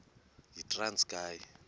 yitranskayi